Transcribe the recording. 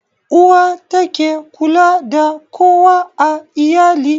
Uwa ta ke kula da kowa a iyali